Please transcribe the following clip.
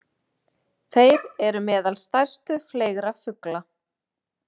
Þeir eru meðal stærstu fleygra fugla.